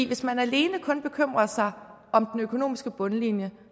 hvis man alene bekymrer sig om den økonomiske bundlinje